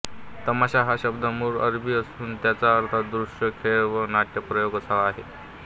तमाशा हा शब्द मूळ अरबी असून त्याचा अर्थ दृश्य खेळ वा नाट्यप्रयोग असा आहे